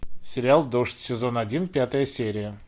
сериал дождь сезон один пятая серия